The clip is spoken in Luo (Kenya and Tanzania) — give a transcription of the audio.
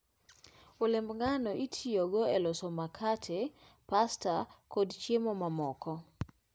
Olemb ngano itiyogo e loso makate, pasta, koda chiemo mamoko.